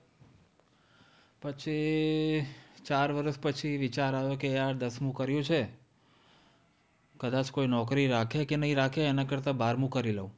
પછી ચાર વર્ષ પછી વિચાર આયો કે યાર દસમું કર્યું છે, કદાચ કોઈ નોકરીએ રાખે કે નહીં રાખે એનાં કરતાં બારમું કરી લઉં.